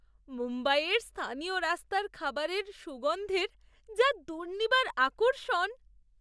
মুম্বাইয়ের স্থানীয় রাস্তার খাবারের সুগন্ধের যা দুর্নিবার আকর্ষণ!